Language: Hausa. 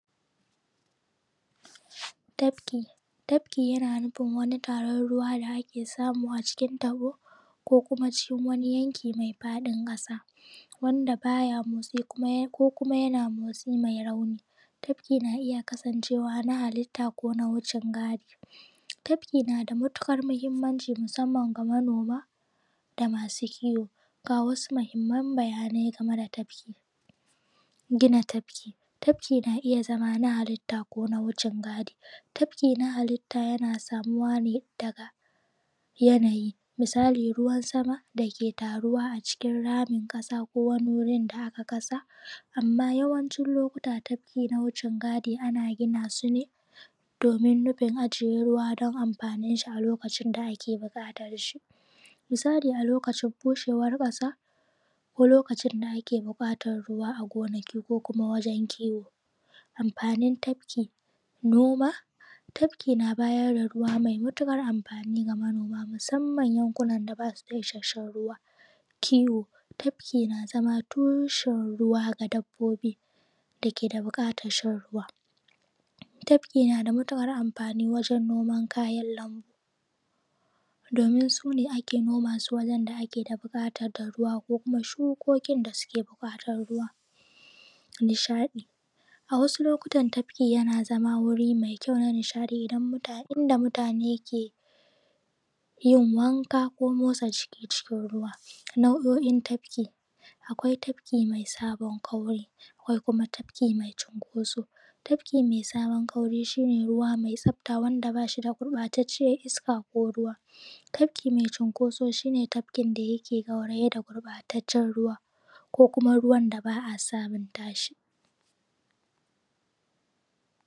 Tafki, tafki yan nufin wani taron ruwa da ake samu a cikin taɓo ko kuma cikin wani yanki mai faɗin ƙasa, wanda baya motsi ko kuma yana motsi mai rauni. Tafki na iya kasancewa na halitta ko na wucin gadi. Tafki nada matuƙar muhimmanci musamman ga manoma da masu kiwo. Ga wasu muhimman bayanai game da tafki. Gina tafki, tafkin ma iya zama na halitta kona wucin gadi. Tafki ka halitta yana samuwa ne daga yana yi, misali ruwan sama dake taruwa a cikin ramin ƙasa ko wani wurin da aka ƙasa, amma yawanci lokuta tafki na wucin gadi ana ginasu ne domin nufin ajiye ruwa don amfaninshi a lokacin da ake buƙatarshi, misali a lokacin bushewar ƙasa ko lokacin da ake buƙatan ruwa a gonaki ko kuma wajen kiwo. Amfanin tafki, noma, tafki na bayar da ruwa mai matukar amfani ga manoma, musamman yanku nan da basu da isashen ruwa. Kiwo, tafki na zama tushen ruwa ga dabbobi dake da buƙatan shan ruwa. Tafki nada matuƙar amfani wajen noman kayan lambu, domin sune ake nomasu wajen da ake da buƙatan ruwa, ko kuma shukokin dake da buƙatar ruwa. Nishadi, a wasu lokatan tafki yana zama wuri mai kyau na nishadi idan mutane, inda mutane ke yin wanka ko motsa jiki cikin ruwa. Nau’o’in tafiki. Akwai tafki mai sabon kauri, akwai kuma tafki maicinkoso. Tafki mai sabon kauri shi ne ruwa mai tsafta wanda bashi da gurɓataccen iska ko ruwa. Tafki mai cinkoso shi ne tafkin yake gauraye da gurɓatacen ruwa ko kuma ruwan da ba a samun tashi.